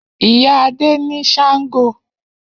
Iya Ade ni shango